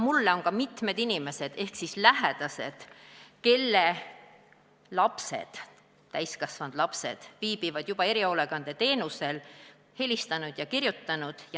Mulle on ka mitmed inimesed ehk lähedased, kelle lapsed, täiskasvanud lapsed viibivad juba erihoolekandeteenusel, helistanud ja kirjutanud.